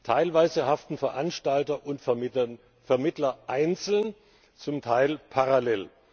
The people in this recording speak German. Teilweise haften Veranstalter und Vermittler einzeln, zum Teil parallel.